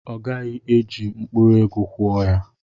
Ọ gaghị eji mkpụrụ ego kwụọ ya.